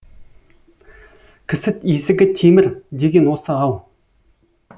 кісі есігі темір деген осы ау